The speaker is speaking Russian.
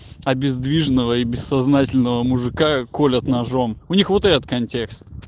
обездвиженного и бессознательного мужика колят ножом у них вот этот контекст